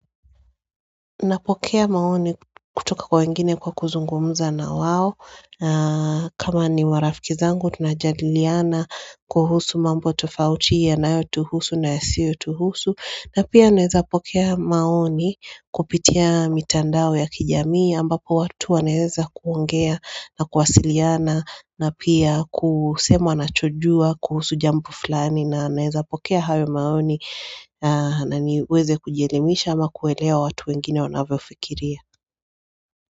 Napokea maoni kutoka kwa wengine kwa kuzungumuza na wao. Kama ni warafiki zangu, tunajadiliana kuhusu mambo tofauti ya na yotuhusu na yasiyotuhusu. Na pia naeza pokea maoni kupitia mitandao ya kijamii ambapo watu wa naeza kuongea na kuwasiliana na pia kusema anachojua kuhusu jambo fulani na naeza pokea hayo maoni na niweze kujielemisha ama kuelewa watu wengine wanavyo fikiria.